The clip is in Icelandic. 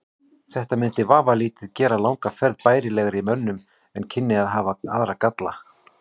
Þetta mundi vafalítið gera langa ferð bærilegri mönnum en kynni að hafa aðra galla.